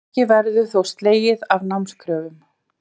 Ekki verður þó slegið af námskröfum